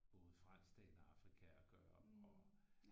Både fransktalende Afrika at gøre og